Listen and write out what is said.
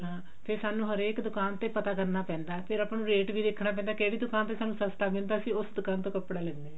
ਹਾਂ ਫ਼ੇਰ ਸਾਨੂੰ ਹਰੇਕ ਦੁਕਾਨ ਤੇ ਪਤਾ ਕਰਨਾ ਪੈਂਦਾ ਫ਼ੇ ਆਪਾਂ ਨੂੰ rate ਵੀ ਦੇਖਣਾ ਪੈਂਦਾ ਵੀ ਕਿਹੜੀ ਦੁਕਾਨ ਤੇ ਸਾਨੂੰ ਸਸਤਾ ਮਿਲਦਾ ਅਸੀਂ ਉਸ ਦੁਕਾਨ ਤੋਂ ਕੱਪੜਾ ਲੈਣੇ ਹਾਂ